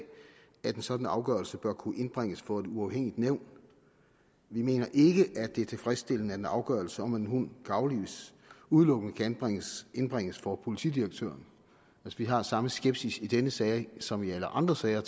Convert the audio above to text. at en sådan afgørelse bør kunne indbringes for et uafhængigt nævn vi mener ikke at det er tilfredsstillende at en afgørelse om om en hund kan aflives udelukkende kan indbringes indbringes for politidirektøren vi har samme skepsis i denne sag som i alle andre sager